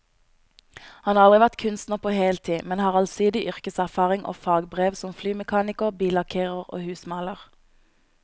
Han har aldri vært kunstner på heltid, men har allsidig yrkeserfaring og fagbrev som flymekaniker, billakkerer og husmaler.